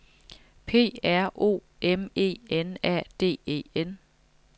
P R O M E N A D E N